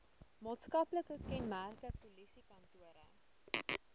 maatskaplike kenmerke polisiekantore